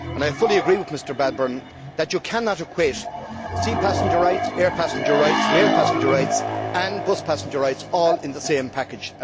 I fully agree with Mr Bradbourn that you cannot equate sea passenger rights, air passenger rights, rail passenger rights and bus passenger rights all in the same package.